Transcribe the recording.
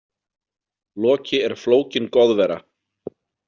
Loki er flókin goðvera.